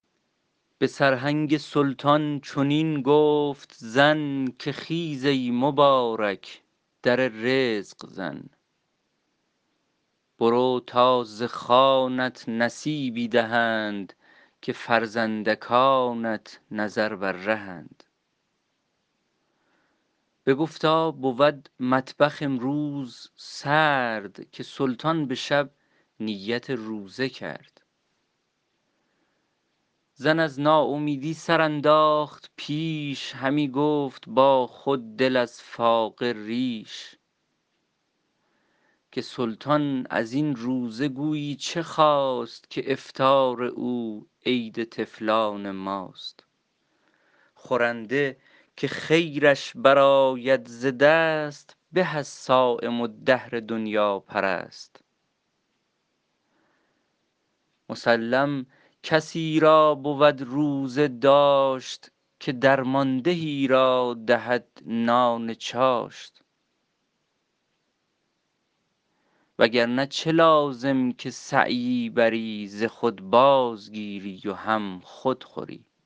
به سرهنگ سلطان چنین گفت زن که خیز ای مبارک در رزق زن برو تا ز خوانت نصیبی دهند که فرزندکانت نظر بر رهند بگفتا بود مطبخ امروز سرد که سلطان به شب نیت روزه کرد زن از ناامیدی سر انداخت پیش همی گفت با خود دل از فاقه ریش که سلطان از این روزه گویی چه خواست که افطار او عید طفلان ماست خورنده که خیرش برآید ز دست به از صایم الدهر دنیاپرست مسلم کسی را بود روزه داشت که درمانده ای را دهد نان چاشت وگرنه چه لازم که سعیی بری ز خود بازگیری و هم خود خوری